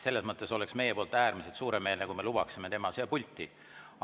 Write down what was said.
Meie poolt oleks äärmiselt suuremeelne, kui me ta siia pulti lubaksime.